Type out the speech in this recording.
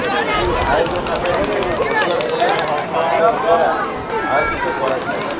ଏହି ଆୟୋଜନ ସ୍ୱାସ୍ଥ୍ୟ ଓ ପରିବାର କଲ୍ୟାଣ ମନ୍ତ୍ରଣାଳୟ ଦ୍ୱାରା ଆୟୋଜିତ କରାଯିବ